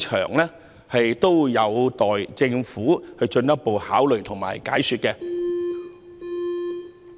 這些事宜有待政府進一步考慮及解說。